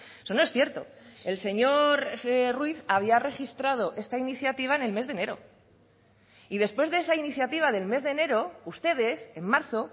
eso no es cierto el señor ruiz había registrado esta iniciativa en el mes de enero y después de esa iniciativa del mes de enero ustedes en marzo